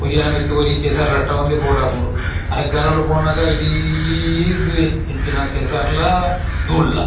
ಒರಿಯನ ಮಿತ್ತು ಒರಿ ಕೆಸರು ರಟ್ಟಾವುಂಡೆ ಪೋವಡಾಪುಂಡು ಅರೆಗಲೊಡು ಪೋನಾಗ ಇಡೀ ಇಂದುವೆ ಎಂಚಿನ ಕೆಸರ್‌ಲ ದೂಲ್‌ಲ.